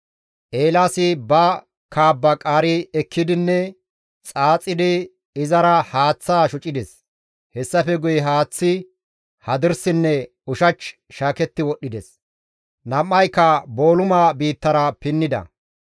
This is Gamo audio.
Eelaasi ba kaabba qaari ekkidinne xaaxidi izara haaththaa shocides; hessafe guye haaththay hadirsinne ushach shaaketti wodhdhides. Nam7ayka booluma biittara pinnida.